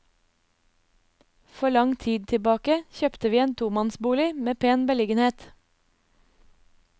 For lang tid tilbake kjøpte vi en tomannsbolig med pen beliggenhet.